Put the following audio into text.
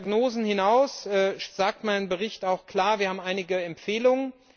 Über diese Diagnosen hinaus sagt mein Bericht auch klar Wir haben einige Empfehlungen.